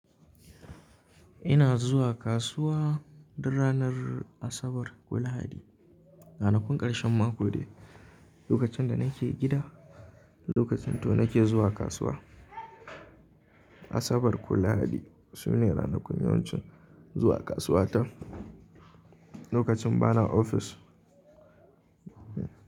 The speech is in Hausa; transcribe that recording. Ina zuwa kasuwa duk ranar Asabar ko Lahadi. Ranakun ƙarshen mako de. Lokacin da nake gida, lokacin to nake zuwa kasuwa. Asabar ko Lahadi su ne ranakun yawancin zuwa kasuwa ta, lokacin bana ofis.